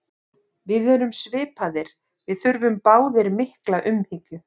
Við erum svipaðir, við þurfum báðir mikla umhyggju.